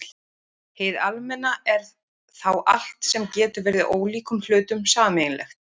Hið almenna er þá allt sem getur verið ólíkum hlutum sameiginlegt.